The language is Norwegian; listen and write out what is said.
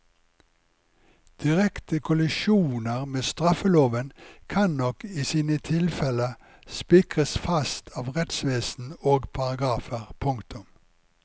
Direkte kollisjoner med straffeloven kan nok i sine tilfelle spikres fast av rettsvesen og paragrafer. punktum